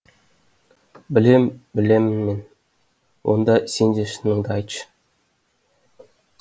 білем білемін мен онда сен де шыныңды айтшы